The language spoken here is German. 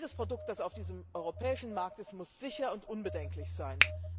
Jedes Produkt, das auf diesem europäischen Markt ist, muss sicher und unbedenklich sein.